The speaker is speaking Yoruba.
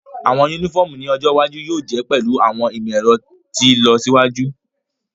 Awọn unifọmu ni ojo iwaju yóò je pẹlu awọn imọ-ẹrọ ti ilọsiwaju.